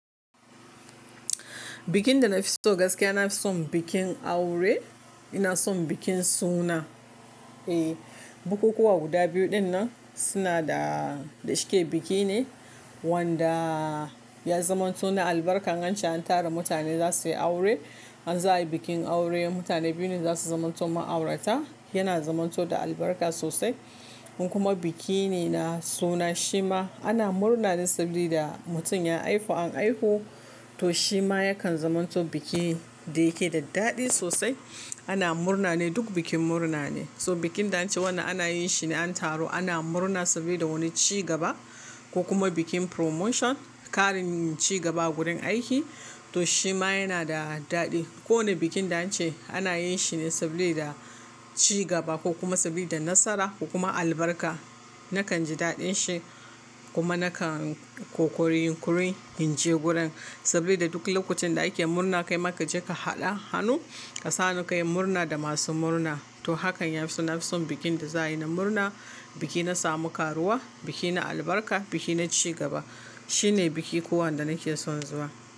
Bikin da na fi so gaskiya, na son bikin aure, ina son bikin suna. E! Bukukuwa guda biyu dinnan suna da, da suke biki ne wanda ya zamanto na albarka. Ance an tara mutane za suyi aure, an za ayi bikin aure. Mutane biyu ne za su zamanto ma'aurata, yana zamanto da albarka sosai. Kuma biki ne na suna shima ana murna ne saboda da mutum ya haifu an haihu to shima yakan zamanto bikin da yake da daɗi sosai. Ana murna ne, dom bikin murna ne. So bikin da ance wanda ana yin shi ne an taro ana murna sabida wani cigaba ko kuma bikin promotion, ƙarin cigaba a gurin aiki to shima yana da daɗi. Kowane bikin da an ce ana yin shi ne saboda cigaba ko kuma sabida nasara ko kuma albarka. Nakan ji daɗin shi kuma nakan kokori gurin in je gurin saboda duk lokacin da ake murna kai ma ka je ka haɗa hannu ka sa hanu ka yi murna da masu murna. To hakan ya fi so na fi son bikin da za'a yi na murna, biki na samu karuwa, biki na albarka, biki na cigaba. Shine biki kowane da nake son zuwa.